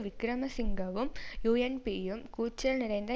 விக்கிரமசிங்கவும் யூ என் பியும் கூச்சல் நிறைந்த